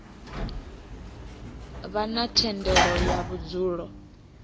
vha na thendelo ya vhudzulo